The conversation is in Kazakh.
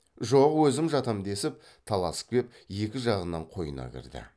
жоқ өзім жатам десіп таласып кеп екі жағынан қойнына кірді